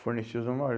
Forneceu só uma hora.